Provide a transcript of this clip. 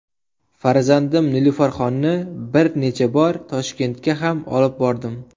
Farzandim Nilufarxonni bir necha bor Toshkentga ham olib bordim.